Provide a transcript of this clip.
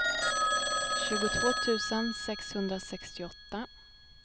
tjugotvå tusen sexhundrasextioåtta